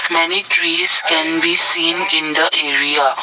many trees can be seen in the area.